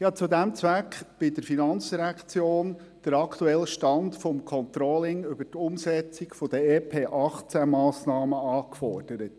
Zu diesem Zweck habe ich bei der FIN den aktuellen Stand des Controllings der Umsetzung der EP-2018-Massnahmen angefordert.